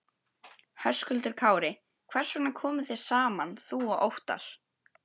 Höskuldur Kári: Hvers vegna komuð þið saman þú og Óttarr?